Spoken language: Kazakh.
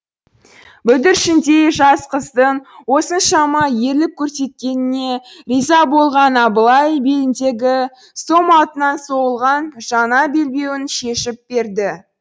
бүлдіршіндей жас қыздың осыншама ерлік көрсеткеніне риза болған абылай беліндегі сом алтыннан соғылған жаңа белбеуін шешіп берді